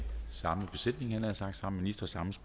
se